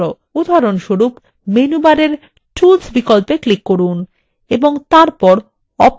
উদাহরণস্বরূপ menu bar tools বিকল্পে click করুন এবং তারপর options এ click করুন